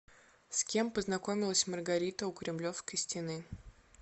с кем познакомилась маргарита у кремлевской стены